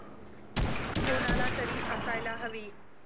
कोणालातरी असायला हवी.